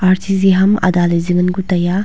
R_C_C ham ada ley zing an ku tai a.